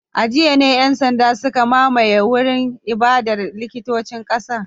A jiya ne ‘yan sanda suka mamaye wurin ibadar likitancin kasar